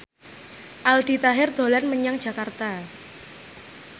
Aldi Taher dolan menyang Jakarta